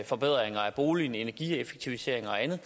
forbedringer af boligen ved energieffektiviseringer og andet